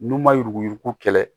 N'u ma yuruku yuruku kɛ